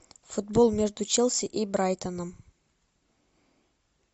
футбол между челси и брайтоном